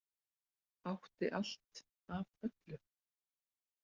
Átti allt af öllu.